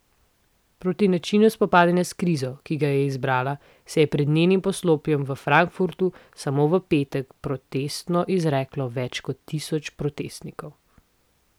Proti načinu spopadanja s krizo, ki ga je izbrala, se je pred njenim poslopjem v Frankfurtu samo v petek protestno izreklo več kot tisoč protestnikov.